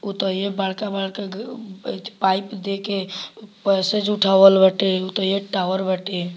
उ तो ये बड़का-बड़का पाइप देके पैसेज उठावल बाटे उ तो एक टावर बाटे।